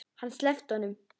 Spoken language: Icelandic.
Hann sleppti honum!